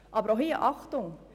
Aber auch hier Achtung: